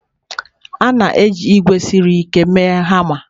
A na-eji ígwè siri ike mee hama.